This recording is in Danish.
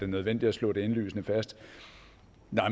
nødvendigt at slå indlysende fast at nej